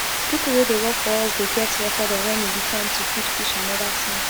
people wey dey work for us dey get record of when e be time to feed fish and other things